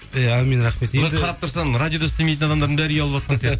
иә әумин рахмет қарап тұрсаң радиода істемейтін адамдардың бәрі үй алыватқан